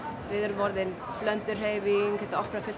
við erum orðin blönduð hreyfing þetta opnar